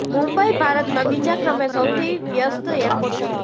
મુંબઈ ભારતમાં બીજા ક્રમે સૌથી વ્યસ્ત એરપોર્ટ છે